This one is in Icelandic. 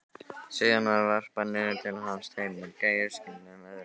Síðan var varpað niður til hans tveimur gæruskinnum, öðru ekki.